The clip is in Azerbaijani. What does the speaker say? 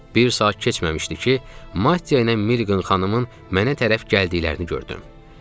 Bir saat keçməmişdi ki, Matteya ilə Milliqan xanımın mənə tərəf gəldiklərini gördüm.